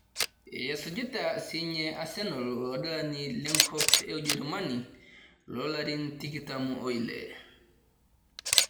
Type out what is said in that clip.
Esujita sinye asenal oladalani lenkop e ujerumani loo larin tikitam oile